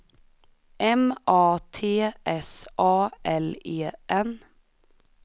M A T S A L E N